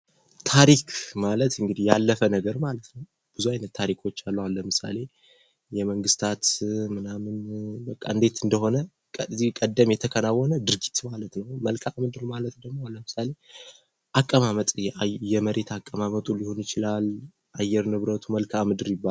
ታሪክ ማለት እንግዲህ ያለፈ ነገር ማለት ነው ብዙ አይነት ታሪኮች አሉ አሁን ለምሳሌ የመንግስታት ምናምን በቃ እንዴት እንደሆነ ከዚህ ቀደም የተከናወነ ድርጊት ማለት ነው መልካም ምድር ማለት ደግሞ ለምሳሌ አቀማመጥ የመሬት አቀማመጡ ሊሆን ይችላል የአየር ንብረቱ መልካም ምድር ይባላል ::